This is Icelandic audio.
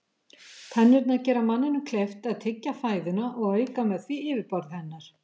Tennurnar gera manninum kleift að tyggja fæðuna og auka með því yfirborð hennar.